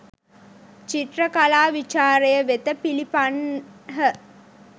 චිත්‍ර කලා විචාරය වෙත පිලිපන්හ